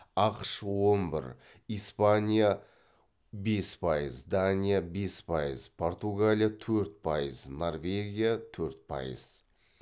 ақш он бір испания бес пайыз дания бес пайыз португалия төрт пайыз норвегия төрт пайыз